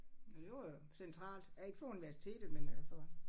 Ja det var da centralt. Ja ikke for universitet men øh for